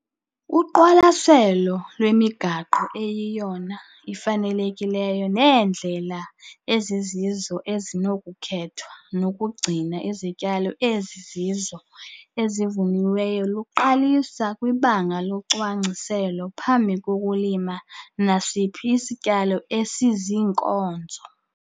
Uqwalaselo lwemigaqo eyiyona ifanelekileyo neendlela ezizizo ezinokukhethwa zokugcina izityalo eziziinkozo ezivuniweyo luqalisa kwibanga locwangciselo phambi kokulima nasiphi isityalo esiziinkozo.